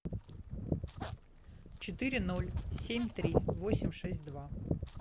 четыре ноль семь три восемь шесть два